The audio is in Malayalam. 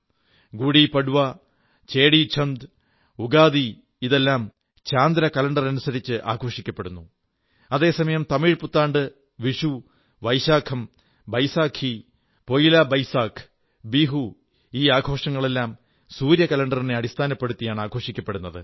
ഗുഡി പഡ്വാ ചേടിചംഡ് ഉഗാദി ഇതെല്ലാം ചാന്ദ്ര കലണ്ടറനുസരിച്ച് ആഘോഷിക്കപ്പെടുന്നു അതേസമയം തമിഴ് പുത്താണ്ട് വിഷു വൈശാഖം ബൈസാഖി പൊഇലാ ബൈസാഖ് ബിഹു ഈ ആഘോഷങ്ങളെല്ലാം സൂര്യകലണ്ടറിനെ അടിസ്ഥാനപ്പെടുത്തിയാണ് ആഘോഷിക്കുന്നത്